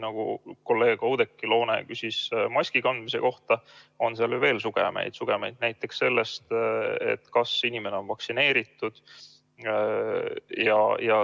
Kolleeg Oudekki Loone küsis maski kandmise kohta, aga seal on veel sugemeid, näiteks see, kas inimene on vaktsineeritud.